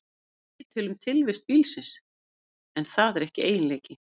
Það segir til um tilvist bílsins, en það er ekki eiginleiki.